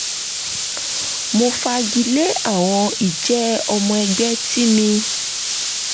mo fagilé àwọn ìjẹ́ ọmọ ẹgbẹ́ tí mi